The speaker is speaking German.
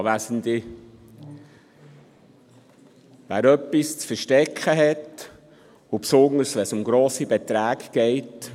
Wer etwas zu verstecken hat, insbesondere, wenn es um hohe Beträge geht: